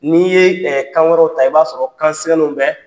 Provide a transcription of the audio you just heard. N'i yee kan wɛrɛw ta i b'a sɔrɔ kan siŋɛnenw bɛ